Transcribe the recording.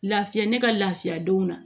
Lafiya ne ka lafiya denw na